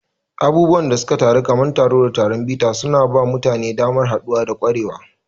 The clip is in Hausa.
Abubuwan da suka faru kamar taro da taron bita suna ba mutane damar haɗuwa da ƙwarewa.